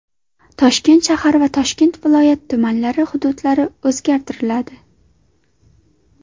Toshkent shahri va Toshkent viloyati tumanlari hududlari o‘zgartiriladi.